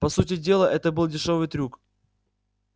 по сути дела это был дешёвый трюк